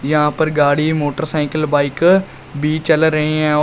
यहां पर गाड़ी मोटरसाइकल बाइक भी चल रहे हैं और--